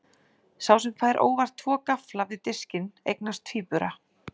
Sá sem fær óvart tvo gaffla við diskinn eignast tvíbura.